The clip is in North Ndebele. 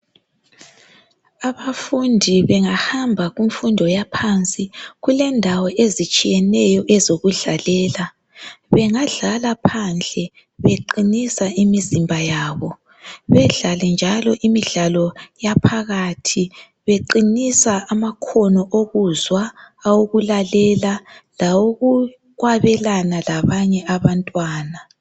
Abafundi bengahamba kumfundo yaphansi kulendawo ezitshiyeneyo ezokudlalela bengadlala phandle beqinisa imizimba yabo bedlale njalo imidlalo yaphakathi beqinisa amakhono okuzwa owokulalela lawokukwabelana labanye abantwana